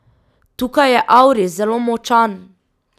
Tukaj je auris zelo močan.